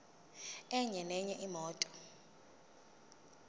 enye nenye imoto